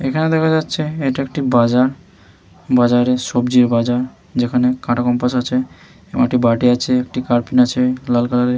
এখানে দেখা যাচ্ছে এটা একটি বাজার বাজারে সবজির বাজার। যেখানে কাটা কম্পাস আছে এবং একটি বাটি আছে একটি কার্পিন আছে লাল কালারের --